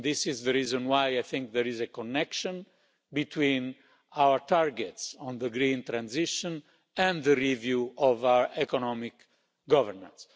This is the reason why I think there is a connection between our targets on the green transition and the review of our economic governance.